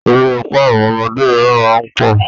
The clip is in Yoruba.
Erépá àwọn ọmọdé míràn má ń pọ̀.